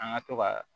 An ka to ka